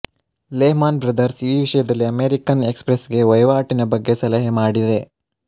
Leh Mann Brothers ಈ ವಿಷಯದಲ್ಲಿ American Express ಗೆ ವಹಿವಾಟಿನ ಬಗ್ಗೆ ಸಲಹೆ ಮಾಡಿದೆ